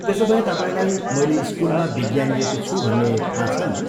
त्यसोभए तपाईँलाई मैले स्कुलमा विज्ञान लिएको छु भन्ने थाहा छ नी?